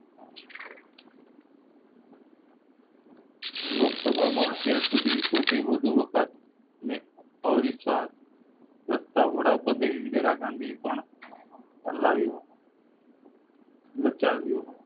લોક સભા માં અત્યાર સુધી સૌથી વધુ વખત વખત ને અવિશ્વાસ વડાપ્રધાન ઇન્દિરા ગાંધી પણ અલાવ્યું લખાવ્યું